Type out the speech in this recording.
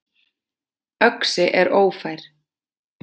Öxi er ófær.